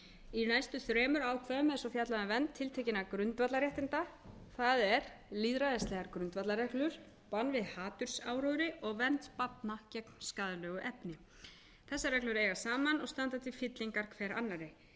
í næstu þremur ákvæðum er fjallað um vernd tiltekinna grundvallarréttinda það er lýðræðisreglur bann við hatursáróðri og vernd barna gegn skaðlegu efni þessar reglur eiga saman og standa til fyllingar hver annarri